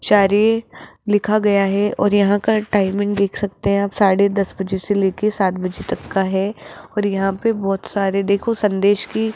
शायरी लिखा गया है और यहां का टाइमिंग देख सकते है आप साढ़े दस बजे से लेके सात बजे तक का है और यहां पे बहोत सारे देखो संदेश की --